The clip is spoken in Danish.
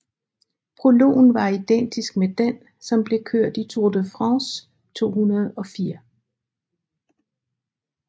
Prologen var identisk med den som blev kørt i Tour de France 2004